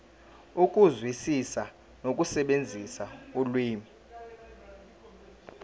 ukuzwisisa nokusebenzisa ulimi